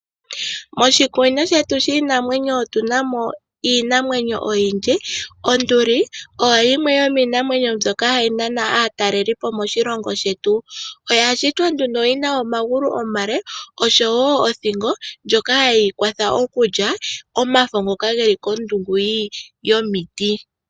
Moshikunino shetu shiinanwenyo otuna mo iinamwenyo oyindji. Onduli oyo yimwe yomiinamwenyo mbyoka hayi nana aatalelipo moshilongo shetu, oya shitwa nduno yina omagulu omale oshowo othingo ndjoka hayeyi kwatha okulya omafo ngoka geli kondungu yomiti.